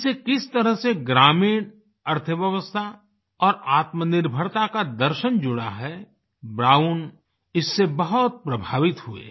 इससे किस तरह से ग्रामीण अर्थव्यवस्था और आत्मनिर्भरता का दर्शन जुड़ा है ब्राउन इससे बहुत प्रभावित हुए